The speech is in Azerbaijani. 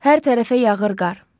Hər tərəfə yağır qar.